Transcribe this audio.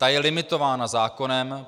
Ta je limitována zákonem.